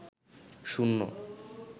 শূন্য